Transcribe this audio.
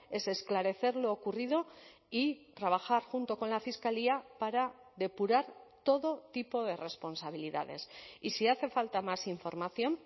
es esclarecer lo ocurrido y trabajar junto con la fiscalía para depurar todo tipo de responsabilidades y si hace falta más información